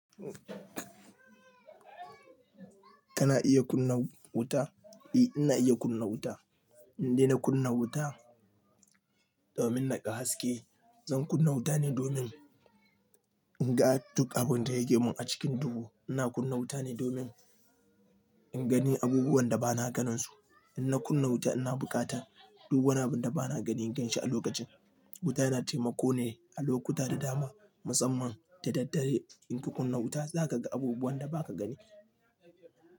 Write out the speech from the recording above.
Kana iya kunna wuta? Eh, ina iya kunna wuta. In dai na kunna wuta domin naƙa haske. Zan kunna wuta ne domin in ga duk abun da yake mun a cikin dubu. Ina kunna wuta ne domin in gani abubuwan da ba na ganin su. In na kunna wuta ina buƙata, duk wani abu da ba na ganin ganshi a lokacin. Wuta yana taimako ne a lokuta da dama, musamman da daddare. In ka kunna wuta za ka ga abubuwan da ba ka gani.